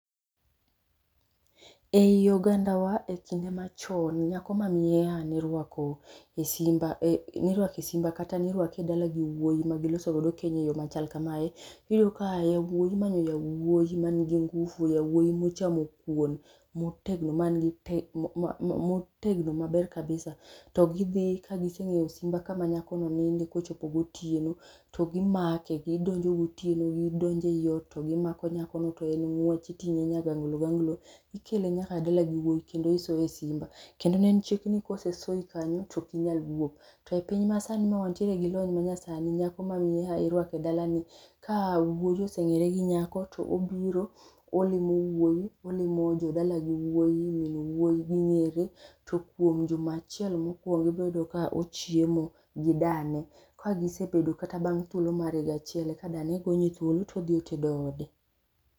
Ei ogandawa e kinde machon nyako ma miyeha nirwako e simba e nirwake e simba kata nirwake e dala gi wuoyi ma giloso godo keny eyo machal kamae, iyudo ka yawuoyi imanyo yawuoyi man gi ngufu yawuoyi mochamo kuon motegno man gi te motegno maber kabisa to gidhii ka giseng'eyo simba kama nyakono ninde kochopo gotieno to gimake gidonjo gotieno to gidonjo ei ot to gimako nyakono to en ng'wech iting'e nyagangloganglo, ikele nyaka dala gi wuoyi kendo isoe e simba. Kendo ne en chik ni kosesoi kanyo tok inyal wuok. To e piny ma sani ma wantiere gi lony ma nyasani nyako ma miyeha irwako e dalani ni ka wuoyi oseng'ere gi nyako to obiro olimo wuoyi, olimo jodalagi wuoyi min wuoyi ging'ere to kuom juma achiel mokwongo ibro yudo ka ochiemo gi dane. Kagisebedo kata bang' thuolo mar higa achiel eka dane gonye thuolo todhi otedo ode